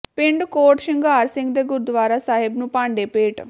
ਪਿੰਡ ਕੋਟ ਸ਼ਿੰਗਾਰ ਸਿੰਘ ਦੇ ਗੁਰਦੁਆਰਾ ਸਾਹਿਬ ਨੂੰ ਭਾਂਡੇ ਭੇਟ